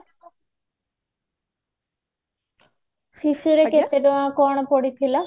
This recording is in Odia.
ଶିଶୁରେ କେତେ ଟଙ୍କା କଣ ପଡିଥିଲା